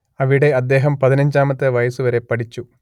അവിടെ അദ്ദേഹം പതിനഞ്ചാമത്തെ വയസ്സുവരെ പഠിച്ചു